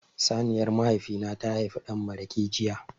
Saniyar mahaifi na ta haifi dan maraƙi jiya.